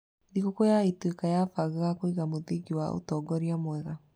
Thigũkũ ya Ituĩka yabangaga kũiga mũthingi wa ũtongoria mwega.